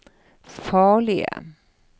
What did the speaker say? farlige